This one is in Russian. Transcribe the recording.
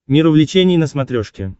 мир увлечений на смотрешке